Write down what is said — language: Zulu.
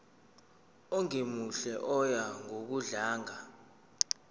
ongemuhle oya ngokudlanga